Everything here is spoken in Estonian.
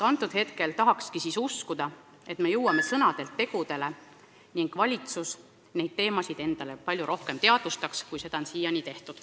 Loodan väga, me jõuame sõnadelt tegudele ning valitsus hakkab neid teemasid palju rohkem teadvustama, kui ta on seda siiani teinud.